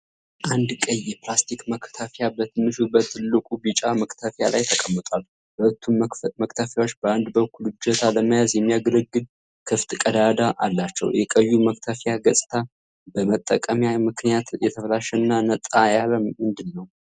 አንድ ቀይ የፕላስቲክ መክተፊያ በትንሹ በትልቁ ቢጫ መክተፊያ ላይ ተቀምጧል። ሁለቱም መክተፊያዎች በአንድ በኩል እጀታ ለመያዝ የሚያገለግል ክፍት ቀዳዳ አላቸው። የቀዩ መክተፊያ ገጽታ በመጠቀሚያ ምክንያት የተበላሸና ነጣ ያለ ምንድነው?